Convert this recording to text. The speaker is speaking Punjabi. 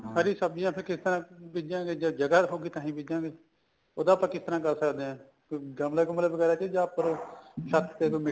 ਹਰੀ ਸਬਜੀਆਂ ਫੇਰ ਕਿਸ ਤਰ੍ਹਾਂ ਬਿਜਾਗੇ ਜਦ ਜਗ੍ਹਾ ਰਹੂਗੀ ਤਾਂ ਹੀ ਬਿਜਾਗੇ ਉਹਦਾ ਆਪਾਂ ਕਿਸ ਤਰ੍ਹਾਂ ਕਰ ਸਕਦੇ ਆ ਕੋਈ ਗਮਲਾ ਗੁਮਲਾ ਵਗੈਰਾ ਚ ਉੱਪਰ ਛੱਤ ਤੇ ਕੋਈ